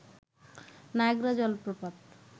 Niagara জলপ্রপাত